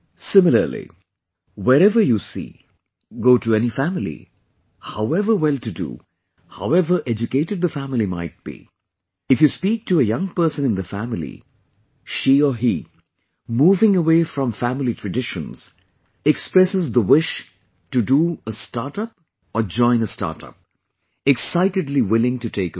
Similarly, wherever you see...go to any family...however well to do, however educated the family might be...if you speak to a young person in the family, she or he, moving away from family traditions, express the wish to do a start up or join a start up...excitedly willing to take a risk